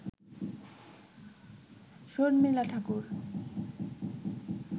Sharmila Thakur